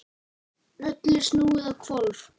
Öllu snúið á hvolf.